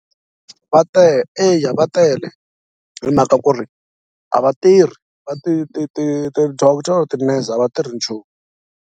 Va tele eya va tele hi mhaka ku ri a va tirhi va ti ti ti ti-doctor ti-nurse a va tirhi nchumu.